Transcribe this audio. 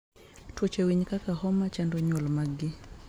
Tuoche winy kaka homa chando nyuol maggi